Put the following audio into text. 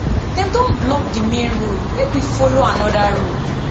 dem don block di main road make we folo anoda road